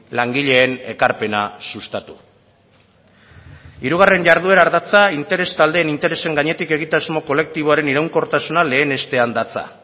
langileen ekarpena sustatu hirugarren jarduera ardatza interes taldeen interesen gainetik egitasmo kolektiboaren iraunkortasuna lehenestean datza